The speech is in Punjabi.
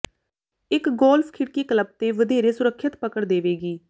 ਇੱਕ ਗੋਲਫ ਖਿੜਕੀ ਕਲੱਬ ਤੇ ਵਧੇਰੇ ਸੁਰੱਖਿਅਤ ਪਕੜ ਦੇਵੇਗੀ